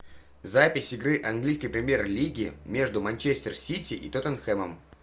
запись игры английской премьер лиги между манчестер сити и тоттенхэмом